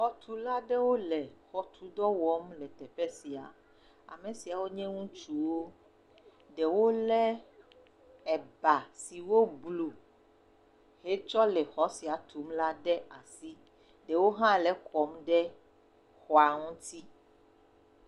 Xɔtula aɖewo le xɔtudɔ wɔm le teƒe sia amesiawo nye ŋutsuwo ɖewo le ba si woblu hetsɔ le xɔ sia tum la ɖe asi ɖewo ha le ekɔm ɖe xɔa ŋti